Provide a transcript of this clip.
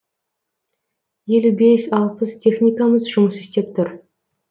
елу бес алпыс техникамыз жұмыс істеп тұр